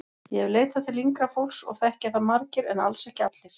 Ég hef leitað til yngra fólks og þekkja það margir en alls ekki allir.